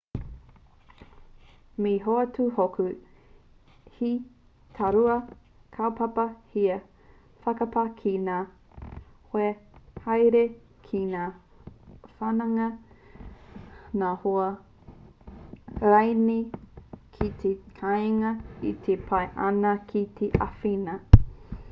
me hoatu hoki he tārua kaupapa here/whakapā ki ngā hoa haere ki ngā whanaunga ngā hoa rānei ki te kāinga e pai ana ki te āwhina